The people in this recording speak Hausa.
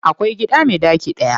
Akwai gida me ɗaki daya.